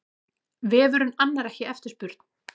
Vefurinn annar ekki eftirspurn